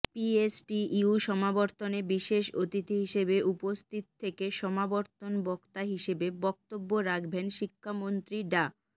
PSTU সমাবর্তনে বিশেষ অতিথি হিসেবে উপস্থিত থেকে সমাবর্তন বক্তা হিসেবে বক্তব্য রাখবেন শিক্ষামন্ত্রী ডা